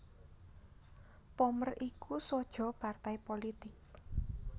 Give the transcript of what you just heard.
Pommer iku saja partai pulitik